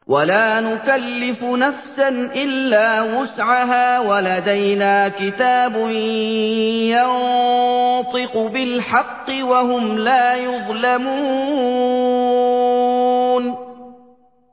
وَلَا نُكَلِّفُ نَفْسًا إِلَّا وُسْعَهَا ۖ وَلَدَيْنَا كِتَابٌ يَنطِقُ بِالْحَقِّ ۚ وَهُمْ لَا يُظْلَمُونَ